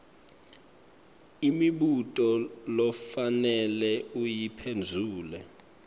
imibuto lofanele uyiphendvule